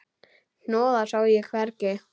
Hnoðað sá ég hvergi.